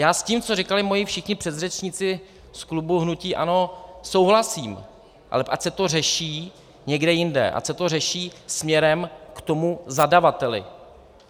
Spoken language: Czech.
Já s tím, co říkali moji všichni předřečníci z klubu hnutí ANO, souhlasím, ale ať se to řeší někde jinde, ať se to řeší směrem k tomu zadavateli.